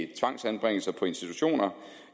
tvangsanbringelser på institutioner